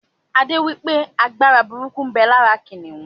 Adé wípé Agbára burúkú ń bẹ lára kìnnìún